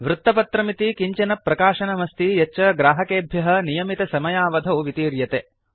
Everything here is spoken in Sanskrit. वृत्तपत्रमिति किञ्चन प्रकाशनम् अस्ति यच्च ग्राहकेभ्यः नियमितसमयावधौ वितीर्यते